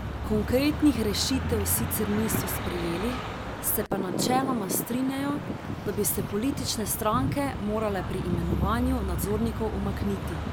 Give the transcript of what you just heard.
Konkretnih rešitev sicer niso sprejeli, se pa načeloma strinjajo, da bi se politične stranke morale pri imenovanju nadzornikov umakniti.